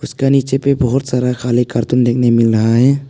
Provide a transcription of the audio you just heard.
उसके नीचे भी बहुत सारा खाली कार्टून देखने मिल रहा है।